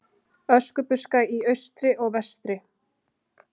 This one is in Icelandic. Öskubuska í austri og vestri.